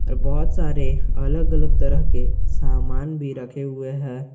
ये बहुत सारे अलग अलग तरह के सामान भी रखे हुए है।